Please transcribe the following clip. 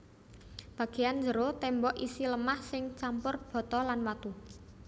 Bagéyan jero témbok isi lemah sing campur bata lan watu